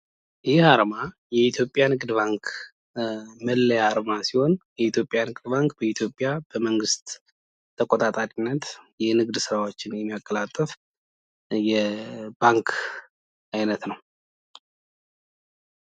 ይህ አርማ የኢትዮጵያ ንግድ ባንክ መለያ አርማ ሲሆን የኢትዮጵያ ንግድ ባንክ በመንግሥት ተቆጣጣሪነት የንግድ ስራዎችን የሚያቀላጥፍ የባንክ አይነት ነው።